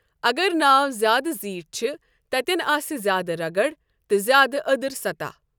اگر ناو زیادٕ زیٖٹھۍ چھِ، تتٮ۪ن آسہِ زیادٕ رگڑ تہٕ زیادٕ أدٕر سَطَح۔